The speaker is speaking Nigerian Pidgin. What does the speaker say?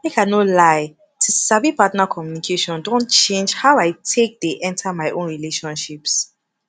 make i no lie to sabi partner communication don change how i take dey enter my own relationships